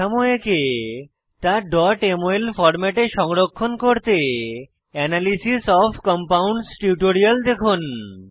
কাঠামো এঁকে তা mol ফরম্যাটে সংরক্ষণ করতে এনালাইসিস ওএফ কম্পাউন্ডস টিউটোরিয়াল দেখুন